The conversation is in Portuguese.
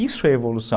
Isso é evolução.